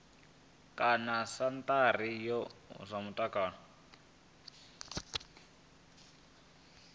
kana sentharani ya zwa mutakalo